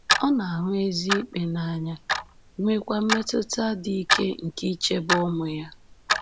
Ọ “na-ahụ ezi ikpe n’anya,” nweekwa mmetụta dị ike nke ichebe ụmụ ya.